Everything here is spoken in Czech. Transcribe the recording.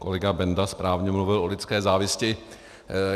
Kolega Benda správně mluvil o lidské závisti.